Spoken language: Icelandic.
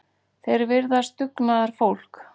Þeir virðast dugnaðarfólk